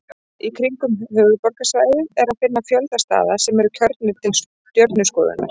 Í kringum höfuðborgarsvæðið er að finna fjölda staða sem eru kjörnir til stjörnuskoðunar.